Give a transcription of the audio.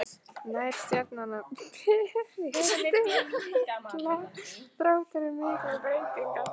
Nær Stjarnan að berjast um titla þrátt fyrir miklar breytingar?